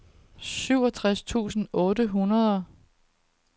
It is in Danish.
syvogtres tusind otte hundrede